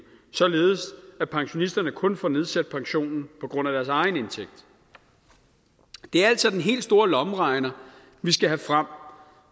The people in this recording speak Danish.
således at pensionisterne kun får nedsat pensionen på grund af deres egen indtægt det er altså den helt store lommeregner vi skal have frem